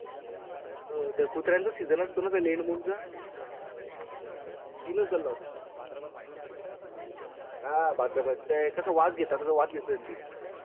हो त्या कुत्र्यांचा सीजन असतोना त्या हा भाद्रपद ते कस वास घेतात